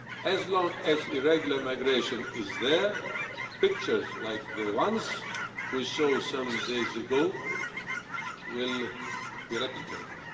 As long as irregular migration is there, pictures like the ones we saw some days ago will be replicated.